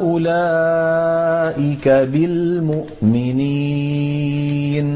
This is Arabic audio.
أُولَٰئِكَ بِالْمُؤْمِنِينَ